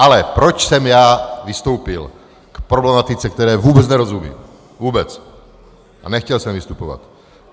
Ale proč jsem já vystoupil k problematice, které vůbec nerozumím, vůbec, a nechtěl jsem vystupovat.